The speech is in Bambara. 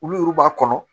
Olu yɛru b'a kɔnɔ